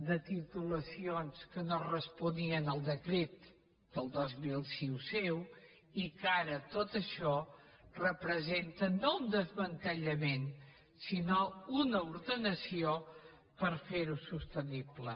de titulacions que no responien al decret del dos mil sis seu i que ara tot això representa no un desmantellament sinó una ordenació per fer ho sostenible